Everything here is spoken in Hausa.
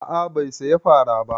A'a bai saya fara ba